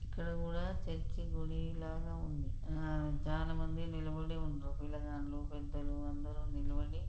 ఇక్కడ కూడా చర్చ్ గుడి లాగా ఉందిఆ చాలామంది నిలబడి ఉన్నారు ఆ పిల్లగాండ్లు పెద్దలు అందరూ నిలబడి.